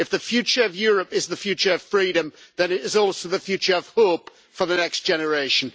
If the future of Europe is the future of freedom, then it is also the future of hope for the next generation.